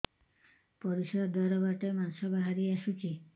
ପରିଶ୍ରା ଦ୍ୱାର ବାଟେ ମାଂସ ବାହାରି ଆସୁଛି